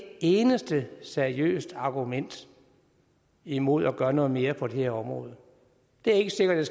eneste seriøst argument imod at gøre noget mere på det her område det er ikke sikkert